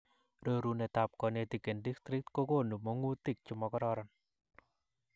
rorunetap konetik en district kogonu mongutik chemokororon